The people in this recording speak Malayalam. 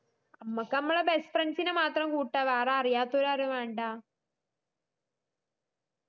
മ്മക്ക് മ്മളെ best friends ഇനെ മാത്രം കൂട്ട വേറെ അറിയാത്തോരാരും വേണ്ട